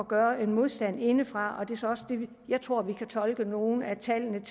gøre modstand indefra jeg tror vi kan tolke nogle at tallene